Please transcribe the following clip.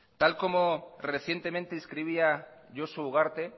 tal como recientemente escribía josu ugarte